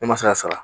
Ne ma se ka sara